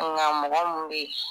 Nka mɔgɔ mun bɛ